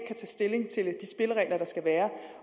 tage stilling til de spilleregler der skal være